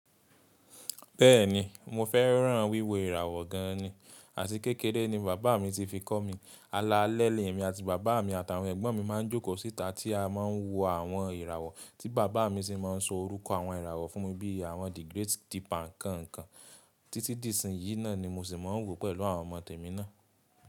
Bẹ́ẹ̀ni, mo fẹ́ràn wíwo ìràwọ̀ gan ni, àti kékeré ni bàbá mi ti fi kọ́ mi. Alalẹ́ mi àti bàbá mi àtàwọn ẹ̀gbọ́n mi máa ń jókòó síta tí a máa ń wo àwọn ìràwọ̀ tí bàbá mi sì máa ń sọ orúkọ àwọn ìràwọ̀ fún mi bí i àwọn The Great Deepak kan kan. Títí di ìsìn yìí náà ni mo sì máa ń wò pẹ̀lú àwọn ọmọ tèmi náà.